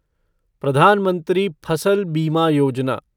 प्रधान मंत्री फसल बीमा योजना